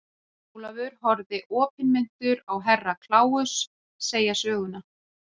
Jón Ólafur horfði opinmynntur á Herra Kláus segja söguna.